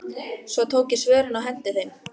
Svo tók ég svörin og henti þeim.